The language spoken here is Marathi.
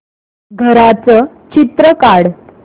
घराचं चित्र काढ